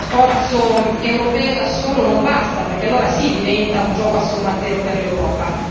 Lo sforzo europeo da solo non basta, perché allora sì diventa un gioco a somma zero per l'Europa.